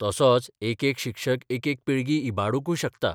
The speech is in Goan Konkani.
तसोच एकेक शिक्षक एकेक पिळगी इबाडूंकय शकता.